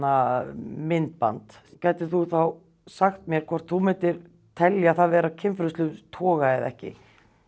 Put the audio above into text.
myndband gætir þú þá sagt mér hvort þú myndir telja það vera af kynferðislegum toga eða ekki